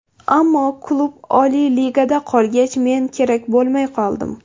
Ammo klub Oliy ligada qolgach, men kerak bo‘lmay qoldim.